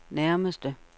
nærmeste